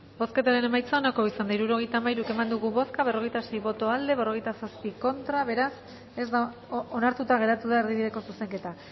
bozketaren emaitza onako izan da hirurogeita hamairu eman dugu bozka berrogeita sei boto aldekoa veintisiete contra beraz onartuta geratu da erdibideko zuzenketa